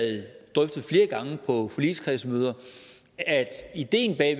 drøftet flere gange på forligskredsmøder at idéen bag